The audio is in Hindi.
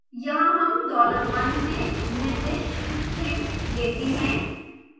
यहाँ हम $1 से निर्दिष्ट string लेते हैं